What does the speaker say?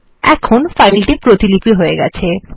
এখন ফাইল প্রতিপিলি হয়ে গেছে